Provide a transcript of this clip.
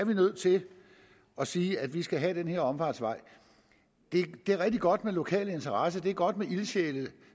vi nødt til at sige at vi skal have den her omfartsvej det er rigtig godt med lokale interesser det er godt med ildsjæle